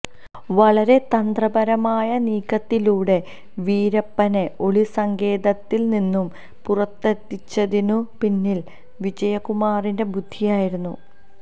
വളരെ തന്ത്രപരമായ നീക്കത്തിലൂടെ വീരപ്പനെ ഒളിസങ്കേതത്തില് നിന്നും പുറത്തെത്തിച്ചതിനു പിന്നില് വിജയകുമാറിന്റെ ബുദ്ധിയായിരുന്നു